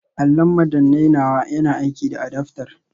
Allon madannai nawa yana aiki da adaftar